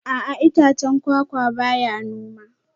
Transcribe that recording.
A'a itacen kwakwa ba ya noma